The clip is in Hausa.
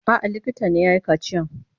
A'a, likita ne ya yi kaciyan.